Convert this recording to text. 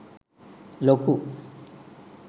ලොකු